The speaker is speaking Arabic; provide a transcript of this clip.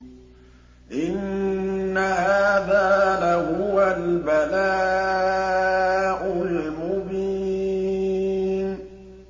إِنَّ هَٰذَا لَهُوَ الْبَلَاءُ الْمُبِينُ